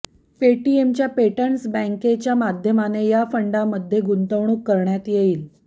पेटीएमच्या पेटेन्ट्स बँकेच्या माध्यमाने या फंडमध्ये गुंतवणूक करण्यात येईल